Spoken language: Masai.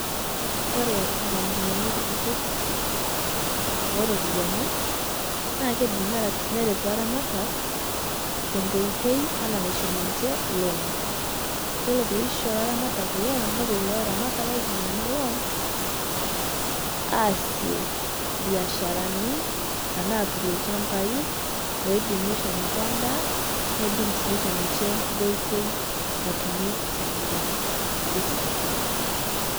Kore nkampunini kutitik eropiani naa keidiim nereet laramatak to nkotei ana naishoo ninchee loan. Iyeloo pee iishoo laramaat loan nopoo kuloo laramatak aitumia ana loan aasie biasharani tana atuurie lchaambai loidiim neishoo ninchee ndaa, neidiim sii neishoo ninchee nkotoi naitumie siling'ini nkulee siling'ini.